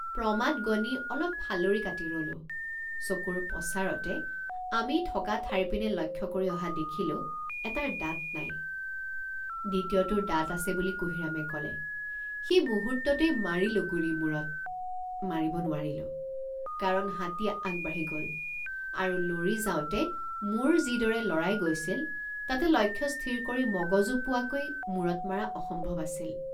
প্ৰমাদ গণি অলপ ফালৰি কাটি ৰলোঁ চকুৰ পচাৰতে আমি থকা ঠাইৰ পিনে লক্ষ্য কৰি অহা দেখিলোঁ এটাৰ দাঁত নাই দ্বিতীয়টোৰ দাঁত আছে বুলি কুঁহিৰামে কলে সেই মুহূৰ্ততেই মাৰিলোঁ গুলী মূৰত মাৰিব নোৱাৰিলো কাৰণ হাতী আগবাঢ়ি গ'ল আৰু লৰি যাওঁতে মূৰ যিদৰে লৰাই গৈছিল তাতে লক্ষ্য স্থিৰ কৰি মগজু পোৱাকৈ মুৰত মাৰা অসম্ভৱ আছিল।